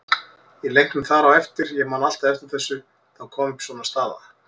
Í leiknum þar á eftir, ég man alltaf eftir þessu, þá kom upp svona staða.